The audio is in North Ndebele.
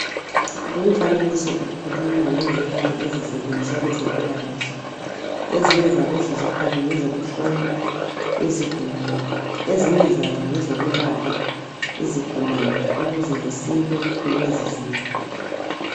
Lumfanekiso ukhuluma ngezikhali ezisetshenziswa kwezempilakahle ezinye zalezi zikhali ngezokuhlola izigulane ezinye zazo ngezokwelapha izigulane ukuze zisile kulezi zifo